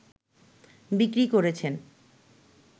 বিক্রি করছেন